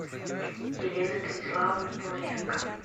елена станиславовна павленко